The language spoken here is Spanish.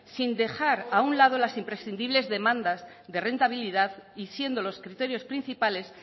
sin dejar a un lado las imprescindibles demandas de rentabilidad y siendo los criterios principales